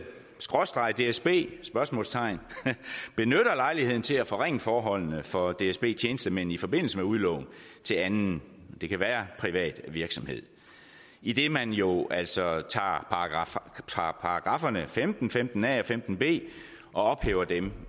skråstreg dsb spørgsmålstegn benytter lejligheden til at forringe forholdene for dsb tjenestemænd i forbindelse med udlån til anden det kan være privat virksomhed idet man jo altså tager paragrafferne femten femten a og femten b og ophæver dem